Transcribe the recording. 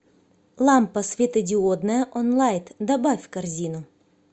лампа светодиодная онлайт добавь в корзину